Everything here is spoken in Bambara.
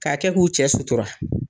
Ka kɛ k'u cɛ sutura.